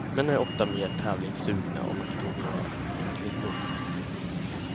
Män är ofta mer tävlingssugna och makthungriga än kvinnor.